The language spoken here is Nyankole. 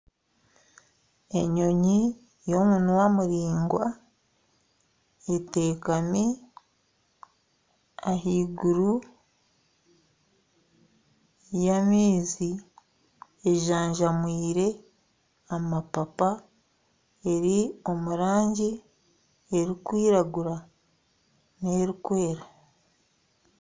Enyonyi y'omunwa muraingwa etekami ahaiguru y'amaizi ejanjamwire amapapa, eri omu rangi erikwiragura n'erikwera